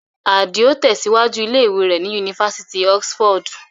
Àdìò tẹ̀síwájú ilé ìwé rẹ̀ ní Yunifásitì Oxford.